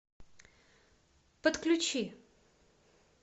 подключи